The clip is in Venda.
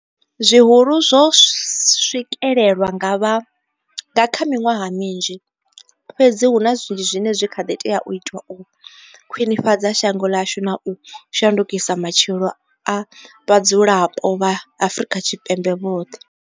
Zwihulu zwo swikelelwa nga vha nga kha miṅwaha minzhi, fhedzi huna zwinzhi zwine zwa kha ḓi tea u itwa u khwiṋifhadza shango ḽashu na u shandukisa matshilo a vhadzulapo vha Afrika Tshipembe vhoṱhe.